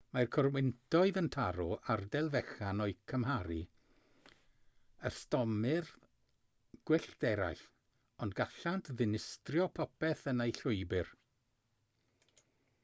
mae corwyntoedd yn taro ardal fechan o'u cymharu â stormydd gwyllt eraill ond gallant ddinistrio popeth yn eu llwybr